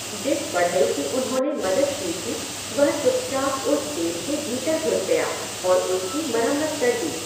जिस बढ़ई की उन्होंने मदद की थी वह चुपचाप उस जेल के भीतर घुस गया और उसकी मरम्मत कर दी।